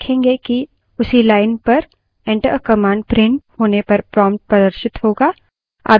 हम देखेंगे कि उसी line पर enter a command प्रिंट होने पर prompt प्रदर्शित होगा